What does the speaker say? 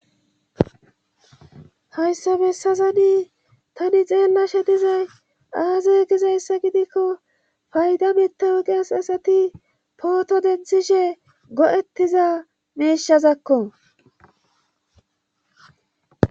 Hayssa bessazani tani xeennashe dizay aaze gizayssa gidikko fayda mitawugeas asati pooto denthishe go7ettiza meishazakko.